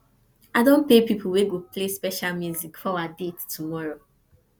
i don pay pipo wey go play special music for our our date tomorrow